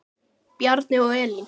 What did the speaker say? Bjarni og Elín.